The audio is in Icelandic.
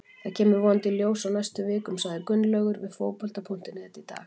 Þetta kemur vonandi í ljós á næstu vikum, sagði Gunnlaugur við Fótbolta.net í dag.